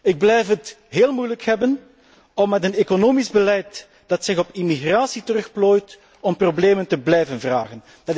Ik blijf het heel moeilijk hebben met een economisch beleid dat zich op immigratie terugplooit, dat problemen blijft vragen.